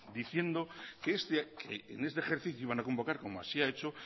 diciendo que en este ejercicio van a convocar como así ha hecho